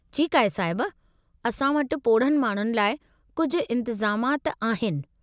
ठीकु आहे साहिब। असां वटि पोढ़नि माण्हुनि लाइ कुझु इंतिज़ामाति आहिनि।